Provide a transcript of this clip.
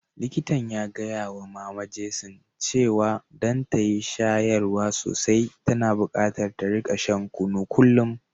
Likitan ya gaya wa mama Jason cewa don ta yi shayarwa sosai, tana bukatar ta rika shan kunu kullum.